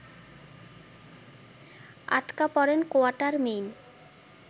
আটকা পরেন কোয়াটারমেইন